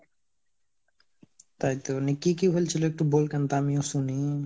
তাইতো নি কি কি হোলছিলো, একটু বল কেনতা আমিও শুনি?